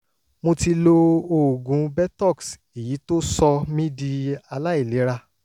mo ti lo oògùn botox èyí tó sọ mí di aláìlera